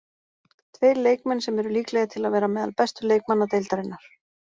Tveir leikmenn sem eru líklegir til að vera meðal bestu leikmanna deildarinnar.